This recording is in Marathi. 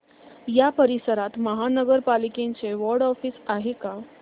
या परिसरात महानगर पालिकेचं वॉर्ड ऑफिस आहे का